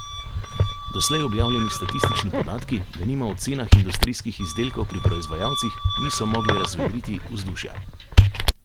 Doslej objavljeni statistični podatki, denimo o cenah industrijskih izdelkov pri proizvajalcih, niso mogli razvedriti vzdušja.